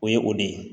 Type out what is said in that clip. O ye o de ye